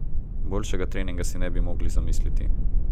Boljšega treninga si ne bi mogli zamisliti.